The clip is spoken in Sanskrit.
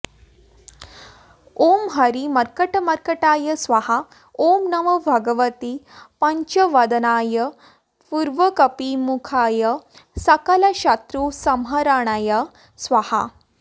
ॐ हरिमर्कटमर्कटाय स्वाहा ॐ नमो भगवते पञ्चवदनाय पूर्वकपिमुखाय सकलशत्रुसंहरणाय स्वाहा